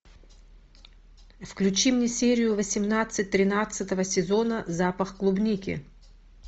включи мне серию восемнадцать тринадцатого сезона запах клубники